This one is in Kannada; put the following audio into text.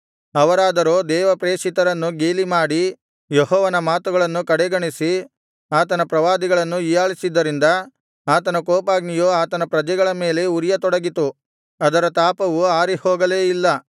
ಅವರಾದರೋ ದೇವಪ್ರೇಷಿತರನ್ನು ಗೇಲಿಮಾಡಿ ಯೆಹೋವನ ಮಾತುಗಳನ್ನು ಕಡೆಗಣಿಸಿ ಆತನ ಪ್ರವಾದಿಗಳನ್ನು ಹೀಯಾಳಿಸಿದ್ದರಿಂದ ಆತನ ಕೋಪಾಗ್ನಿಯು ಆತನ ಪ್ರಜೆಗಳ ಮೇಲೆ ಉರಿಯತೊಡಗಿತು ಅದರ ತಾಪವು ಆರಿಹೋಗಲೇ ಇಲ್ಲ